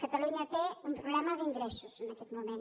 catalunya té un problema d’ingressos en aquest moment